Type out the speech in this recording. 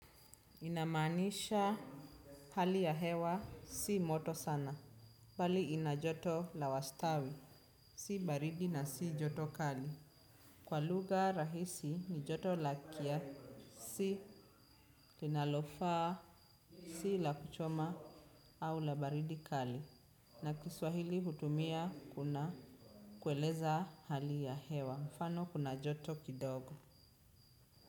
Ina manisha hali ya hewa si moto sana. Bali ina joto la wastani. Si baridi na si joto kali. Kwa lugha rahisi ni joto la kia si linalofa. Si la kuchoma. Au la baridi kali. Na kiswahili hutumia kuna kueleza hali ya hewa. Mfano kuna joto kidogo.